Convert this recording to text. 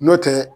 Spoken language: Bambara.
N'o tɛ